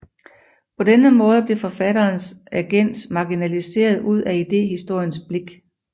På denne måde blev forfatterens agens marginaliseret ud af idéhistoriens blik